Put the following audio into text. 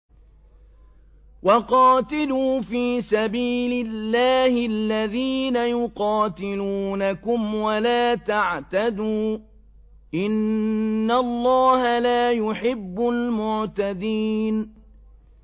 وَقَاتِلُوا فِي سَبِيلِ اللَّهِ الَّذِينَ يُقَاتِلُونَكُمْ وَلَا تَعْتَدُوا ۚ إِنَّ اللَّهَ لَا يُحِبُّ الْمُعْتَدِينَ